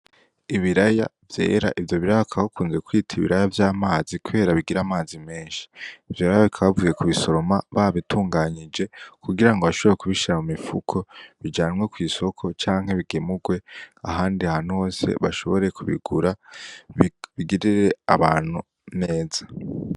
Ibiraya vyera, ivyo biraya bakaba bakunze kuvyita ibiraya vy'amazi kubera bigira amazi menshi, ivyo biraya bakaba bavuye kubisoroma babitunganije kugira ngo bashobora kubishira mu m'imifuko bijanwe kw'isoko canke bigemurwe ahandi hantu hose bashobora kubigura bigirire abantu neza.